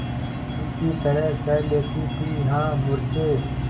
बिल्ली की तरह सह लेती थीहा मूर्खे